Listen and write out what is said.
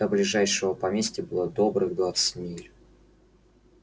до ближайшего поместья было добрых двадцать миль